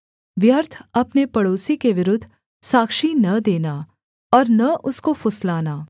व्यर्थ अपने पड़ोसी के विरुद्ध साक्षी न देना और न उसको फुसलाना